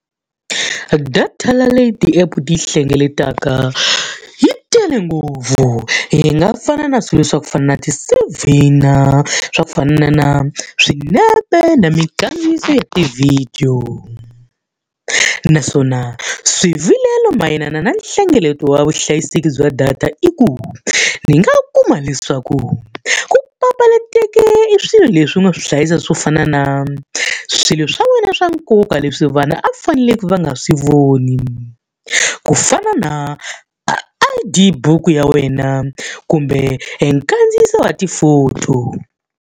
Data leyi ti-app ti yi hlengeletaka yi tele ngopfu, yi nga fana na swilo swa ku fana na ti-C_V-na, a swa ku fana na swinepe, na minkandziyiso ya tivhidiyo. Naswona swivilelo mayelana na nhlengeleto wa vuhlayiseki bya data i ku, ni nga kuma leswaku ku papalata teke i swilo leswi u nga swi hlayisa swo fana na swilo swa wena swa nkoka leswi vanhu a faneleke va nga swi voni. Ku fana na I_D buku ya wena kumbe e nkandziyiso wa ti-photo.